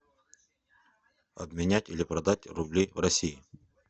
обменять или продать рубли в россии